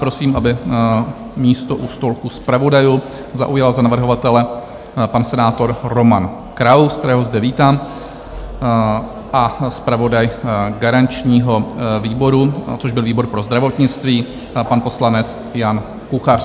Prosím, aby místo u stolku zpravodajů zaujal za navrhovatele pan senátor Roman Kraus, kterého zde vítám, a zpravodaj garančního výboru, což byl výbor pro zdravotnictví, pan poslanec Jan Kuchař.